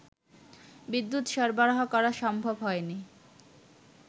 বিদ্যুৎ সরবরাহ করা সম্ভব হয়নি